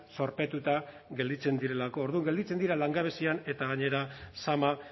zorpetuta gelditzen direlako orduan gelditzen dira langabezian eta gainera zama